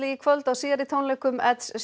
kvöld á síðari tónleikum